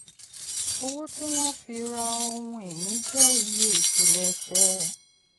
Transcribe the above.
owó tí wọ́n fi ra ohun-ìní jẹ́ iye ìpilẹ̀ṣẹ̀.